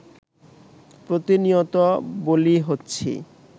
প্রতিনিয়ত বলি হচ্ছি